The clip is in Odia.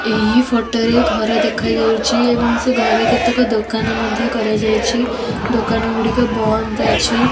ଏହି ଫୋଟରେ ଘର ଦେଖାଯାଉଚି ଏବଂ ସେ ଘରେ କେତେକ ଦୋକାନ ମଧ୍ଯ କରାଯାଇଛି ଦୋକାନ ଗୁଡିକ ବନ୍ଦ ଅଛି।